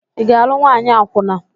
Ị ga-alụ nwaanyị akwụna?